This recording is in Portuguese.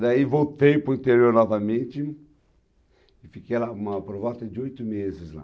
Daí voltei para o interior novamente e fiquei, lá, uma, por volta de oito meses lá.